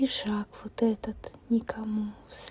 и шаг вот этот никому с